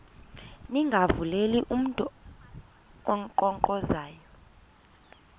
ningavuleli mntu unkqonkqozayo